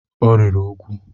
Ọ rịrị úgwù.